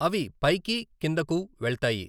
అవి పైకి కిందకు వెళ్తాయి.